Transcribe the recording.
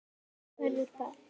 Verður ball?